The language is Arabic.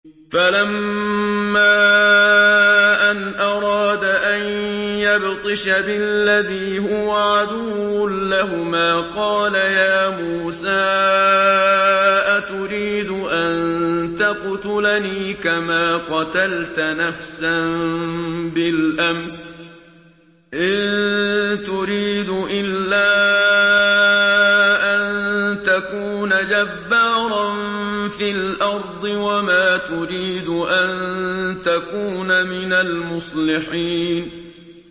فَلَمَّا أَنْ أَرَادَ أَن يَبْطِشَ بِالَّذِي هُوَ عَدُوٌّ لَّهُمَا قَالَ يَا مُوسَىٰ أَتُرِيدُ أَن تَقْتُلَنِي كَمَا قَتَلْتَ نَفْسًا بِالْأَمْسِ ۖ إِن تُرِيدُ إِلَّا أَن تَكُونَ جَبَّارًا فِي الْأَرْضِ وَمَا تُرِيدُ أَن تَكُونَ مِنَ الْمُصْلِحِينَ